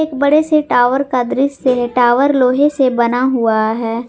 बड़े से टावर का दृश्य है टावर लोहे से बना हुआ है।